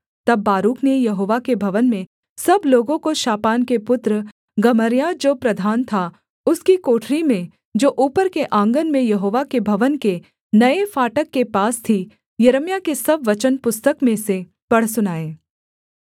तब बारूक ने यहोवा के भवन में सब लोगों को शापान के पुत्र गमर्याह जो प्रधान था उसकी कोठरी में जो ऊपर के आँगन में यहोवा के भवन के नये फाटक के पास थी यिर्मयाह के सब वचन पुस्तक में से पढ़ सुनाए